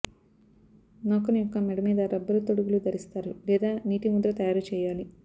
నౌకను యొక్క మెడ మీద రబ్బరు తొడుగులు ధరిస్తారు లేదా నీటి ముద్ర తయారు చేయాలి